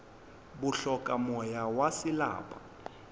bo hloka moya wa selapa